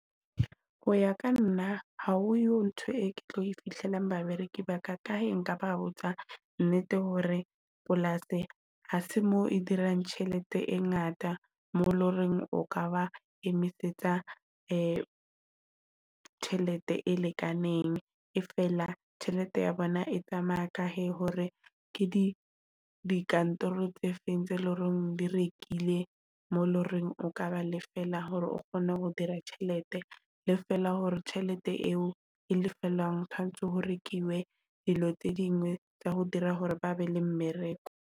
Ho ya ka nna ha oyo ntho e ke tlo e fihlelang babereki ba ka kae nka ba botsa nnete hore polasi ha se mo e dirang tjhelete e ngata mo loreng o ka ba emise tjhelete e lekaneng. E feela tjhelete ya bona e tsamaya ka he hore ke dikantoro tse feng tse leng horeng di rekile mo loreng, o ka ba le feela hore o kgone ho dira tjhelete le fela hore tjhelete eo e lefellwang tshwanetse ho rekiwe dilo tse dingwe tsa ho dira hore ba be le mmereko.